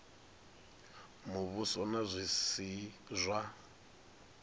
muvhuso na zwi si zwa